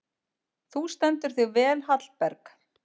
Þú stendur þig vel, Hallberg!